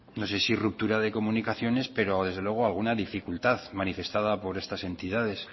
no sé si ruptura de comunicaciones pero desde luego alguna dificultad manifestada por estas entidades